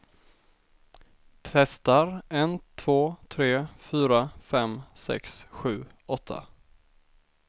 Testar en två tre fyra fem sex sju åtta.